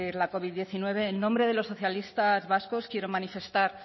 la covid diecinueve en nombre de los socialistas vascos quiero manifestar